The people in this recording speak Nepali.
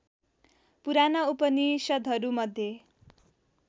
पुराना उपनिषद्हरू मध्ये